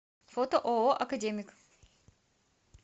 фото ооо академик